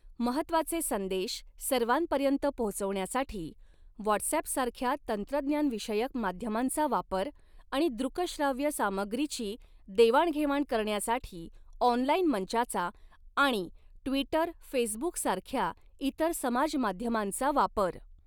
महत्त्वाचे संदेश सर्वांपर्यंत पोहोचवण्यासाठी व्हाटसऍप सारख्या तंत्रज्ञानविषयक माध्यमांचा वापर आणि दृक श्राव्य सामग्रीची देवाणघेवाण करण्यासाठी ऑनलाईन मंचाचा आणि ट्वीटर फेसबुक सारख्या इतर समाज माध्यमांचा वापर.